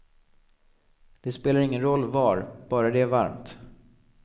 Det spelar ingen roll var, bara det är varmt.